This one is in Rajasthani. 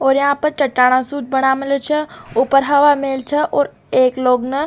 और यहाँ पर चटाना सूत बना मिलो च ऊपर हवा महल छ और एक लोग न --